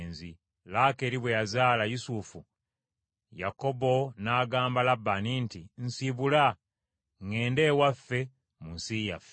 Laakeeri bwe yazaala Yusufu, Yakobo n’agamba Labbaani nti, “Nsiibula, ŋŋende ewaffe mu nsi yaffe.